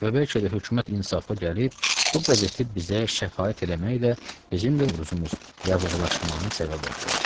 Və bəlkə də hökumət insafa gəlib bu qəzeti bizə şəfaət eləməklə bizim də Novruzumuz yavuqlaşmağına səbəb oldu.